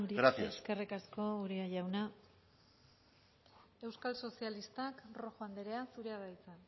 gracias eskerrik asko uria jauna euskal sozialistak rojo andrea zurea da hitza